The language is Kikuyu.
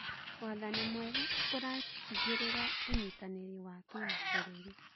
Wathani mwega ũratigĩrĩra ũnyitanĩri wa kĩmabũrũri.